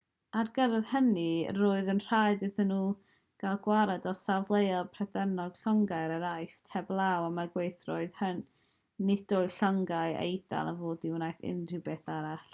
ar gyfer hynny roedd yn rhaid iddyn nhw gael gwared ar safleoedd prydeinig a llongau yn yr aifft heblaw am y gweithredoedd hynny nid oedd llongau'r eidal i fod i wneud unrhyw beth arall